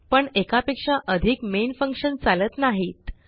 पण एकापेक्षा अधिक मेन फंक्शन चालत नाहीत